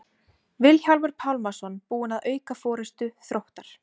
Vilhjálmur Pálmason búinn að auka forystu Þróttar.